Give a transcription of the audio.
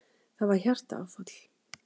Það var hjartaáfall.